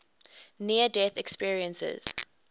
near death experiences